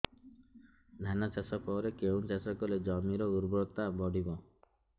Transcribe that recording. ଧାନ ଚାଷ ପରେ କେଉଁ ଚାଷ କଲେ ଜମିର ଉର୍ବରତା ବଢିବ